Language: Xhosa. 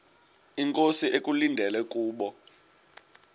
inkosi ekulindele kubo